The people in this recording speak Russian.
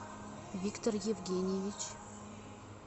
виктор евгеньевич